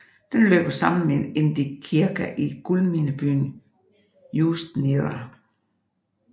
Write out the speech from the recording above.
Den løber sammen med Indigirka i guldminebyen Ust Nera